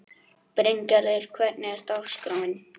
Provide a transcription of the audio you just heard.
Bryngerður, hvernig er dagskráin?